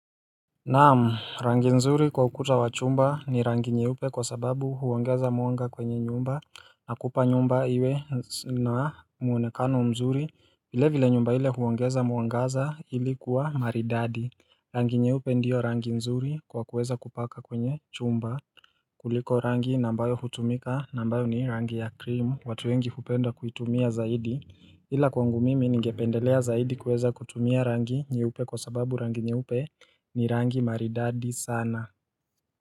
Naam rangi nzuri kwa ukuta wa chumba ni rangi nyeupe kwa sababu huongeza mwanga kwenye nyumba na kupa nyumba iwe na muonekano mzuri vile vile nyumba hile kuongeza mwangaza ili kuwa maridadi Rangi nyeupe ndiyo rangi nzuri kwa kuweza kupaka kwenye chumba kuliko rangi ambayo hutumika na ambayo ni rangi ya cream watu wengi hupenda kuitumia zaidi ila kwangu mimi ningependelea zaidi kuweza kutumia rangi nyeupe kwa sababu rangi nyeupe ni rangi maridadi sana.